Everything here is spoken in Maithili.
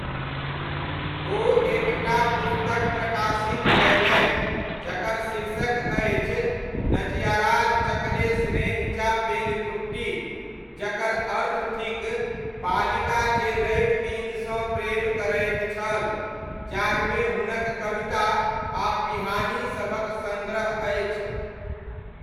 ओ एक टा पुस्तक प्रकाशित कयलनि जकर शीर्षक अछि नजयाराजचकले स्नेहिचा पेनकुट्टी, जकर अर्थ थिक 'बालिका जे रवि दिनसँ प्रेम करैत छल', जाहिमे हुनक कविता आ पिहानी सभक सङ्ग्रह अछि।